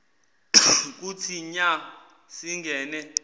kuthi nya singene